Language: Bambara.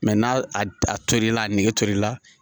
n'a a tor'i la a nege tor'i la